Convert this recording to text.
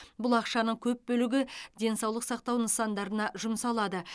бұл ақшаның көп бөлігі денсаулық сақтау нысандарына жұмсалады